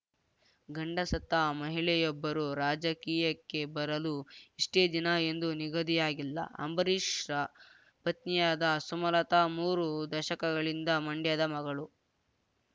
ಗಂಡ ಸತ್ತ ಮಹಿಳೆಯೊಬ್ಬರು ರಾಜಕೀಯಕ್ಕೆ ಬರಲು ಇಷ್ಟೆ ದಿನ ಎಂದು ನಿಗದಿಯಾಗಿಲ್ಲ ಅಂಬರೀಷ್‌ರ ಪತ್ನಿಯಾದ ಸುಮಲತಾ ಮೂರು ದಶಕಗಳಿಂದ ಮಂಡ್ಯದ ಮಗಳು